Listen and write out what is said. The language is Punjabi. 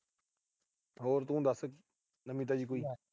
ਹੋਰ ਤੂੰ ਦੱਸ। ਨਵੀਂ ਤਾਜੀ ਕੋਈ।